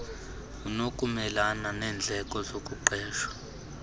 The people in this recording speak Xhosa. unokumelana neendleko zokuqesha